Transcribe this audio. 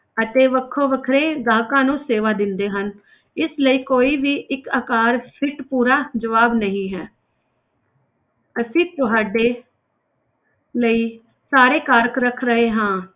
ਅਤੇ ਵੱਖੋ ਵੱਖਰੇ ਗਾਹਕਾਂ ਨੂੰ ਸੇਵਾ ਦਿੰਦੇ ਹਨ ਇਸ ਲਈ ਕੋਈ ਵੀ ਇੱਕ ਆਕਾਰ fit ਪੂਰਾ ਜਵਾਬ ਨਹੀਂ ਹੈ ਅਸੀਂ ਤੁਹਾਡੇ ਲਈ ਸਾਰੇ ਕਾਰਕ ਰੱਖ ਰਹੇ ਹਾਂ।